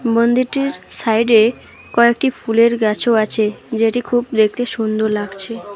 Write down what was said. মন্দিরটির সাইডে কয়েকটি ফুলের গাছও আছে যেটি খুব দেখতে সুন্দর লাগছে।